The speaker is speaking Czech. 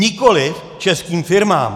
Nikoliv českým firmám.